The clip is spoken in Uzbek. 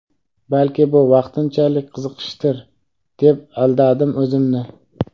Balki bu vaqtinchalik qiziqishdir deb aldadim o‘zimni.